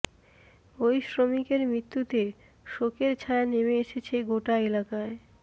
ওই শ্রমিকের মৃত্যুতে শোকের ছায়া নেমে এসেছে গোটা এলাকায়